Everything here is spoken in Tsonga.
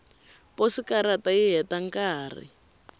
posikarata yi heta nkarhi